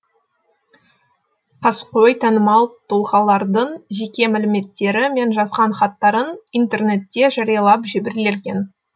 қаскөй танымал тұлғалардың жеке мәліметтері мен жазған хаттарын интернетте жариялап жіберген